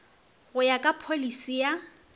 go ya ka pholisi ya